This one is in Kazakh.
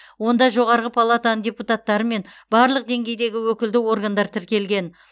онда жоғарғы палатаның депутаттары мен барлық деңгейдегі өкілді органдар тіркелген